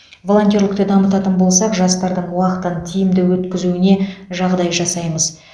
волонтерлікті дамытатын болсақ жастардың уақытын тиімді өткізуіне жағдай жасаймыз